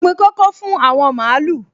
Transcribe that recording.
Mo gbin koko fún àwọn màlúù